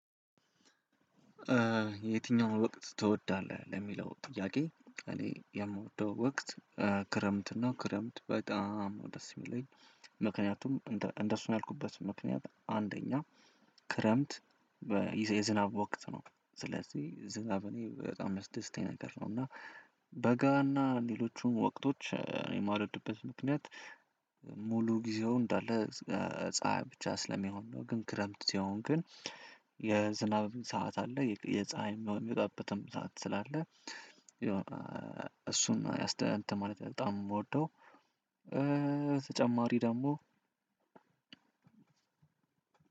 የትኛውን ወቅት ትወዳለህ? ለሚለው ጥያቄ እኔ የምወደው ወቅት ክረምት ነው ክረምት በጣም ነው ደስ የሚለኝ። ምክንያቱም እንደሱ ነው ያልኩበት ምክንያት አንደኛ ክረምት የዝናብ ወቅት ነው። ስለዚህ ዝናብ እኔ በጣም የሚያስደስተኝ ነገር ነው። እና በጋ እና ሌሎቹን ወቅቶች የማልወድበት ምክንያት። ሙሉ ጊዜው እንዳለ ፀሀይ ብቻ ስለሚሆን ነው። ግን ክረምት ሲሆን ግን የዝናብ ሰዓት አለ የፀሀይ የሚወጣበትም ሰዓት ስላለ የሆነ እሱን እንትን ማለት በጣም ነው የምወደው። ተጨማሪ ደግሞ